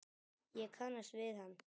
Ég kannast við hann.